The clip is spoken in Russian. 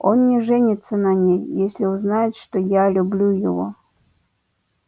он не женится на ней если узнает что я люблю его